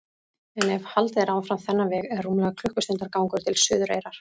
En ef haldið er áfram þennan veg er rúmlega klukkustundar gangur til Suðureyrar.